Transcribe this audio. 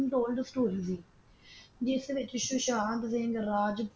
ਦੋਨਾਂ ਦੀ ਸਟ੍ਰੀ ਸੀ ਜਿਸ ਵਿਚ ਸੁਸ਼ਾਂਤ ਸਿੰਘ ਰਾਜ